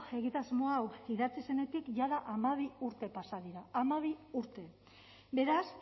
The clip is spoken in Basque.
egitasmo hau idatzi zenetik jada hamabi urte pasa dira hamabi urte beraz